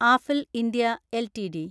Affle India LTD